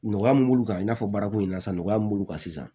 Nɔgɔya mun b'u kan i n'a fɔ baarako in na sa nɔgɔya mun b'olu kan sisan